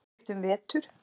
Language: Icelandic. Félagsskipti um vetur?